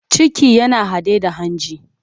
Ciki yana haɗe da hanji.